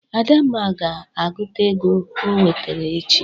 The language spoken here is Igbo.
Adamma ga-agụta ego o nwetara echi.